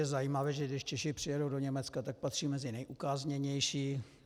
Je zajímavé, že když Češi přijedou do Německa, tak patří mezi nejukázněnější.